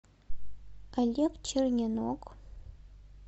олег черненок